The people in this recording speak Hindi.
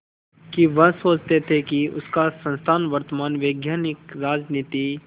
कि वह चाहते थे कि उनका संस्थान वर्तमान वैश्विक राजनीति